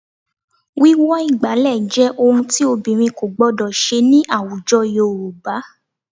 Wíwọ ìgbàlẹ̀ jẹ́ ohun tí obìnrin kò gbọdọ̀ ṣe ní àwùjọ Yorùbá